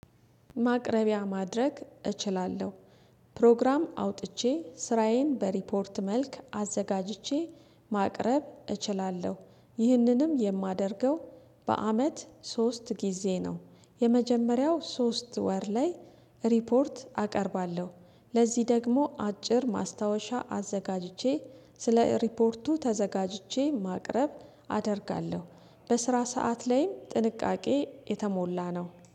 ማቅረቢያ ማድረግ እችላለሁ። ፕሮግራም አውጥቼ ስራዬን በሪፖርት መልክ አዘጋጅቼ ማቅረብ እችላለሁ። ይህንንም የማደርገው በአመት ሶስት ጊዜ ነው። የመጀመሪያው ሶስት ወር ላይ ሪፖርት አቀርባለሁ። ለዚህ ደግሞ አጭር ማስታወሻ አዘጋጅቼ ስለ ሪፖርቱ ተዘጋጅቼ ማቅረብ አደርጋለሁ። በስራ ሰዓት ላይም ጥንቃቄ የተሞላ ነው።